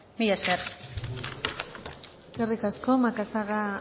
mila esker eskerrik asko macazaga